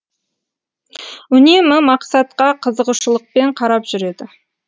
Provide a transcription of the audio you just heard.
үнемі мақсатқа қызығушылықпен қарап жүреді